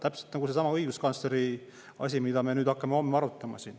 Täpselt nagu seesama õiguskantsleri asi, mida me hakkame homme siin arutama.